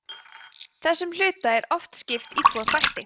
þessum hluta er oft skipt í tvo þætti